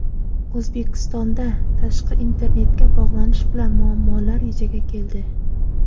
O‘zbekistonda tashqi internetga bog‘lanish bilan muammolar yuzaga keldi.